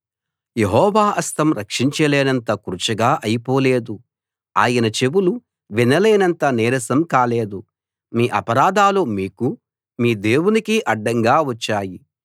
యెహోవా హస్తం రక్షించలేనంత కురుచగా అయిపోలేదు ఆయన చెవులు వినలేనంత నీరసం కాలేదు మీ అపరాధాలు మీకూ మీ దేవునికీ అడ్డంగా వచ్చాయి